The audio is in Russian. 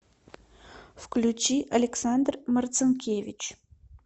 включи александр марцинкевич